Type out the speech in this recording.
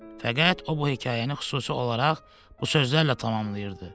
Fəqət o bu hekayəni xüsusi olaraq bu sözlərlə tamamlayırdı.